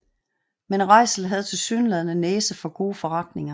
Men Reitzel havde tilsyneladende næse for gode forretninger